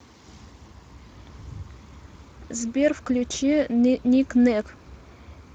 сбер включи никнэк